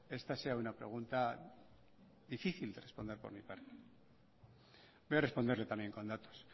esta sea una pregunta difícil de responder por mi parte voy a responderle también con datos